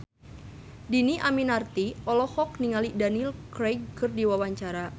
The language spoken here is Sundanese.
Dhini Aminarti olohok ningali Daniel Craig keur diwawancara